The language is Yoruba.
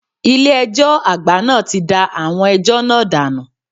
Ilé ẹjọ́ àgbà náà ti da ẹjọ́ náà dànù.